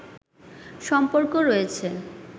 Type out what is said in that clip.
সম্পর্ক রয়েছে